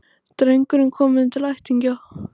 Drengurinn kominn til ættingja